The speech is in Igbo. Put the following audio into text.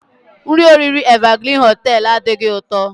Nri oriri Evergreen hoteelu adighị ụtọ.